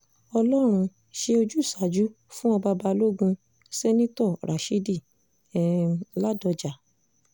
ọlọ́run ṣe ojúsàájú fún ọba balógun- seneto rashidi um ládọjá